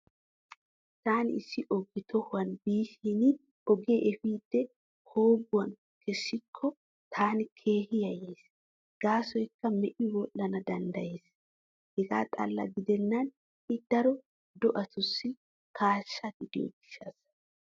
Taani issi oge tohuwan biishin ogee efiiddi koobbuwan kessikko taani keehi yayyays gaasoykka me'i wodhdhana danddayees. Hegaa xalla gidennan I daro do'atussi kaashsha gidiyo gishshawu.